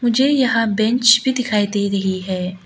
मुझे यहाँ बैंच भी दिखाई दे रही है।